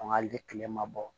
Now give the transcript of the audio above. An ka hali kilema bɔ